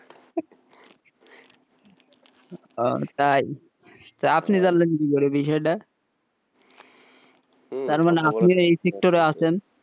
ওহ তাই আপনি জানলেন কি করে এই বিষয়টা তাহলে আপনিও এই sector আছেন,